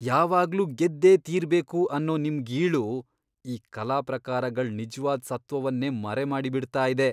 ಯಾವಾಗ್ಲೂ ಗೆದ್ದೇ ತೀರ್ಬೇಕು ಅನ್ನೋ ನಿಮ್ ಗೀಳು ಈ ಕಲಾ ಪ್ರಕಾರಗಳ್ ನಿಜ್ವಾದ್ ಸತ್ತ್ವವನ್ನೇ ಮರೆಮಾಡ್ಬಿಡ್ತಾ ಇದೆ.